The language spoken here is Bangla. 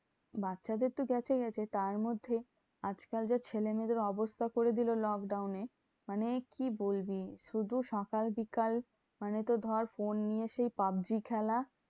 বাচ্চাদের তো গেছে গেছে, তার মধ্যে আজকাল যে ছেলেমেয়েদের অবস্থা করে দিলো lockdown এ, মানে কি বলবি? শুধু সকাল বিকাল মানে তো ধর ফোন নিয়ে সেই পাবজী খেলা।